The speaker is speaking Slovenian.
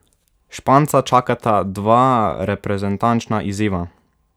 Španca čakata dva reprezentančna izziva.